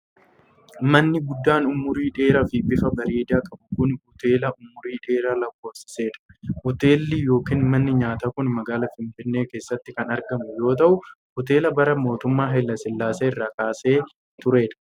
Manni guddaan umurii dheeraa fi bifa bareedaa qabu kun, hoteela umurii dheeraa lakkoofsisee dha. Hoteelli yokin manni nyaataa kun magaalaa Finfinnee keessatti kan argamu yoo ta'u, hoteela bara mootummaa Hayilasillaasee irraa kaasee turee dha.